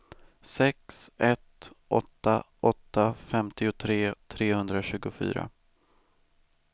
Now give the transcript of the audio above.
sex ett åtta åtta femtiotre trehundratjugofyra